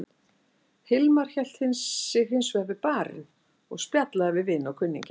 Hilmar hélt sig hins vegar við barinn og spjallaði við vini og kunningja.